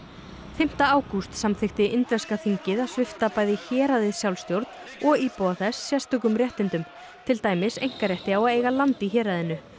fimmta ágúst samþykkti indverska þingið að svipta bæði héraðið sjálfstjórn og íbúa þess sérstökum réttindum til dæmis einkarétti á að eiga land í héraðinu